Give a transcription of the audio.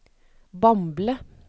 Bamble